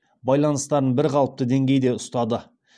байланыстарын бірқалыпты деңгейде ұстады